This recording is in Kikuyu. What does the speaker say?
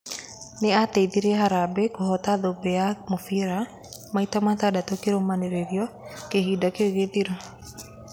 Nĩ ateithĩrĩirie harambĩ kũhota thũmbĩ ya mũbira maita matandatũkĩrũmanĩrĩrio kĩhinda kĩu gĩthiru.